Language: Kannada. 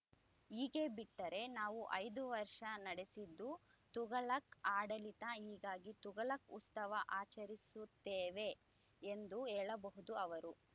ಹೀಗೆ ಬಿಟ್ಟರೆ ನಾವು ಐದು ವರ್ಷ ನಡೆಸಿದ್ದು ತುಘಲಕ್‌ ಆಡಳಿತ ಹೀಗಾಗಿ ತುಘಲಕ್‌ ಉತ್ಸವ ಆಚರಿಸುತ್ತೇವೆ ಎಂದು ಹೇಳಬಹುದು ಅವರು